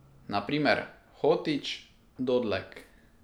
Na primer Hotić, Dodlek ...